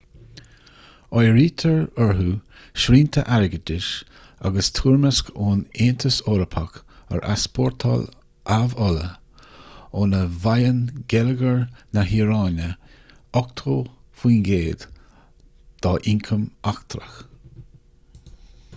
áirítear orthu srianta airgeadais agus toirmeasc ón aontas eorpach ar easpórtáil amhola óna bhfaigheann geilleagar na hiaráine 80% dá ioncam eachtrach